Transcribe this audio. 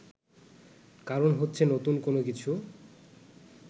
কারণ হচ্ছে নতুন কোনো কিছু